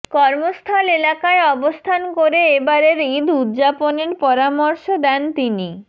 কর্মস্থল এলাকায় অবস্থান করে এবারের ঈদ উদযাপনের পরামর্শ দেন তিনি